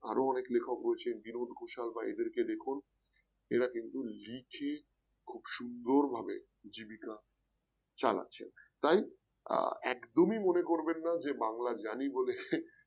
আরো অনেক লেখক রয়েছেন বিনোদ ঘোষাল বা এদেরকে দেখুন এরা কিন্তু লিখে খুব সুন্দর ভাবে জীবিকা চালাচ্ছেন। তাই আহ একদমই মনে করবেন না বাংলা জানি বলে হে